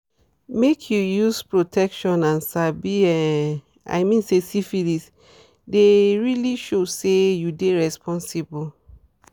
make you use protection and sabi um i mean say syphilis deyit really show say you dey responsible